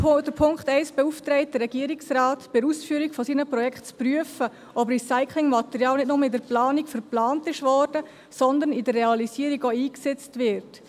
Der Punkt 1 beauftragt den Regierungsrat, bei der Ausführung seiner Projekte zu prüfen, ob Recyclingmaterial nicht nur in der Planung verplant wurde, sondern in der Realisierung auch eingesetzt wird.